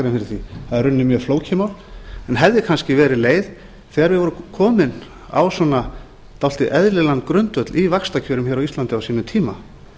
því það er í rauninni mjög flókið mál en hefði kannski verið leið þegar við vorum komin á svona dálítið eðlilegan grundvöll í vaxtakjörum hér á íslandi á sínum tíma